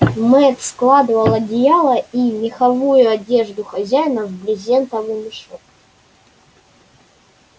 мэтт складывал одеяла и меховую одежду хозяина в брезентовый мешок